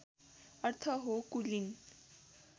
अर्थ हो कुलीन